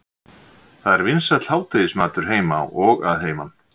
Það er vinsæll hádegismatur heima og að heiman.